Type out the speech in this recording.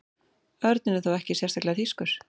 Örninn er þó ekki sérstaklega þýskur.